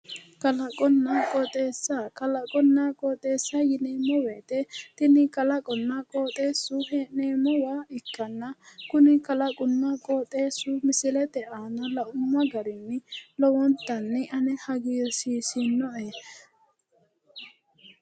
kalaqonna qooxeessa kalaqonna qooxeessa yineemmo wote kuni kalaqonna qooxeessu hee'neemmowa ikkitanna kuni kalaqonna qooxeessu misilete aana laumma garinni lowontanni ane hagiirsiisinoe.